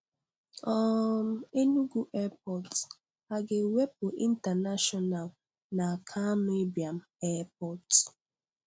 um Enugu Airport: A ga-ewepụ 'International' n'Akanu Ibiam Airport?